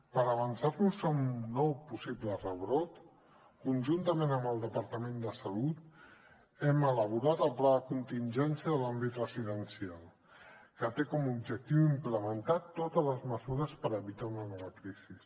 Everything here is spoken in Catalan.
per avançar nos a un nou possible rebrot conjuntament amb el departament de salut hem elaborat el pla de contingència de l’àmbit residencial que té com a objectiu implementar totes les mesures per evitar una nova crisi